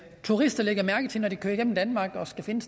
turister lægger mærke til når de kører igennem danmark og skal finde